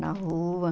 Na rua.